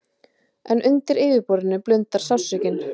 En undir yfirborðinu blundar sársaukinn.